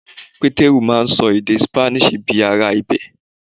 Pétérù máà ń ṣọ èdè Spanish bíi ará ibẹ̀.